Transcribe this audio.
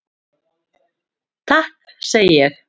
Takk segi ég.